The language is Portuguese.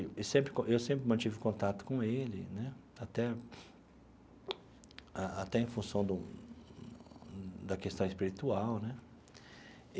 E e sempre co eu sempre mantive contato com ele né, até a a até em função do da questão espiritual né.